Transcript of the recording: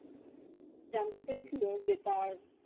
যানতে পেরেছিলো যে তার